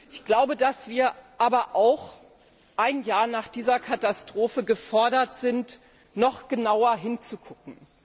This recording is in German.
Ich glaube, dass wir aber auch ein Jahr nach dieser Katastrophe gefordert sind noch genauer hinzusehen.